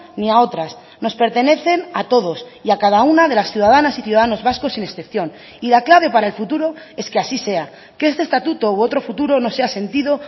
ni a otras nos pertenecen a todos y a cada una de las ciudadanas y ciudadanos vascos sin excepción y la clave para el futuro es que así sea que este estatuto u otro futuro no sea sentido